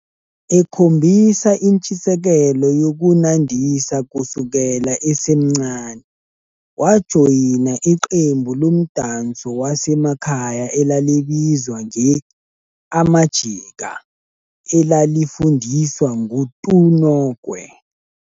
Ekhombisa intshisekelo yokunandisa kusukela esemncane, wajoyina iqembu lomdanso wasemakhaya elalibizwa nge-Amajika, elalifundiswa nguTuNokwe.